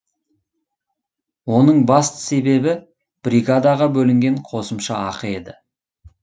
оның басты себебі бригадаға бөлінген қосымша ақы еді